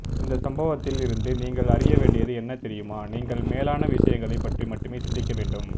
இந்த சம்பவத்தில் இருந்து நீங்கள் அறிய வேண்டியது என்ன தெரியுமா நீங்கள் மேலான விஷயங்களைப் பற்றி மட்டுமே சிந்திக்க வேண்டும்